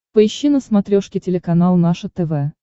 поищи на смотрешке телеканал наше тв